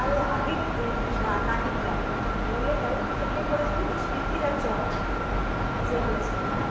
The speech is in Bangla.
আরে আগের যে নাগিন টাই নেউলের character টা কে করেছিল জানিস পৃথিবী রাজ্ চৌহান যে হয়েছিল হে